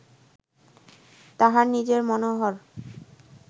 তাঁহার নিজেই মনোহর